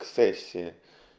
сессия